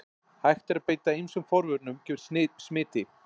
Hægt er að beita ýmsum forvörnum gegn smiti.